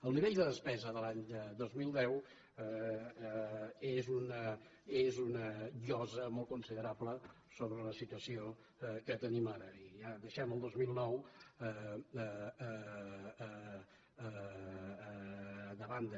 el nivell de despesa de l’any dos mil deu és una llosa molt considerable sobre la situació que tenim ara i ja deixem el dos mil nou de banda